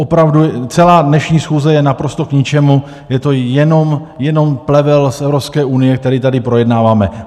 Opravdu, celá dnešní schůze je naprosto k ničemu, je to jenom plevel z Evropské unie, který tady projednáváme.